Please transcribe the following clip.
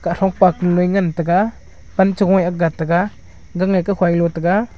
palo a ngan tega pan chong a aak ga taiga gang a law tega.